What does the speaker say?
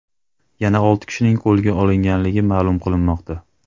Yana olti kishining qo‘lga olinganligi ma’lum qilinmoqda.